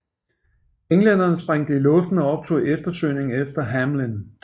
Englænderne sprængte det i luften og optog eftersøgningen efter Hamlin